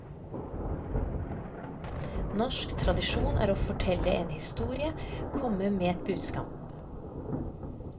Norsk tradisjon er å fortelle en historie, komme med et budskap.